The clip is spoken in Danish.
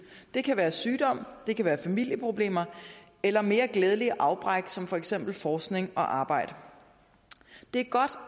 det kan være sygdom det kan være familieproblemer eller mere glædelige afbræk som for eksempel forskning og arbejde det